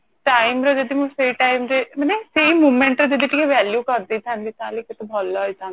time ରେ ତ ସେଇ time re ମାନେ ସେଇ moment ରେ ଯଦି ଟିକେ value କରିଦେଇଥାନ୍ତି ତାହେଲେ କେତେ ଭଲ ହେଇଥାନ୍ତା